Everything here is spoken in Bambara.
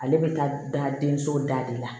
Ale bɛ taa da denso da de la